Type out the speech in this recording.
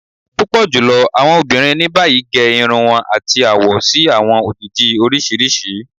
Pupọ julọ awọn obinrin ni bayi ge irun wọn ati awọ si awọn ojiji oriṣiriṣi.